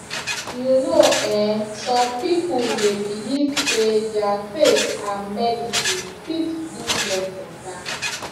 you know um some people dey believe say their faith and medicine fit do dem better